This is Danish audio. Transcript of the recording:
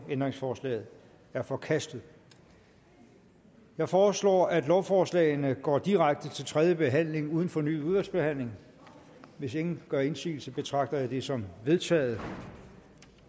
ændringsforslaget er forkastet jeg foreslår at lovforslagene går direkte til tredje behandling uden fornyet udvalgsbehandling hvis ingen gør indsigelse betragter jeg det som vedtaget